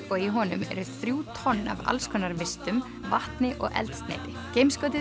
og í honum eru þrjú tonn af alls konar vistum vatni og eldsneyti